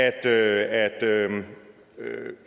at